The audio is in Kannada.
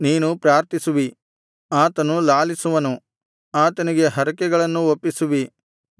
ನೀನು ಪ್ರಾರ್ಥಿಸುವಿ ಆತನು ಲಾಲಿಸುವನು ಆತನಿಗೆ ಹರಕೆಗಳನ್ನು ಒಪ್ಪಿಸುವಿ